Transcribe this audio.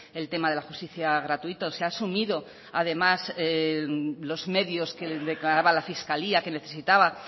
el tema de la justicia gratuita se ha asumido además los medios que declaraba la fiscalía que necesitaba